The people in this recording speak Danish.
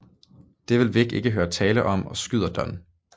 Det vil Vic ikke høre tale om og skyder Don